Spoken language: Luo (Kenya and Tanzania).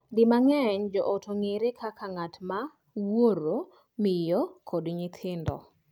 Di mang'eny, joot ong'ere kaka ng'at ma wuoro, miyo, kod nyithindo.